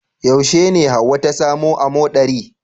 Yaushe ne hauwa ta samu amoɗari